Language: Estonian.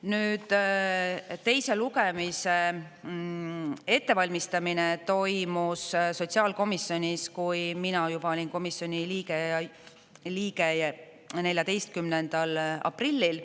Nüüd, teise lugemise ettevalmistamine toimus sotsiaalkomisjonis, kui mina olin juba komisjoni liige, 14. aprillil.